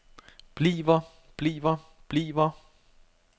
bliver bliver bliver